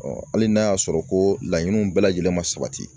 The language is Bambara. hali n'a y'a sɔrɔ ko laɲiniw bɛɛ lajɛlen ma sabati